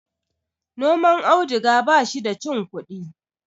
noman auduga ba shi da cin kudi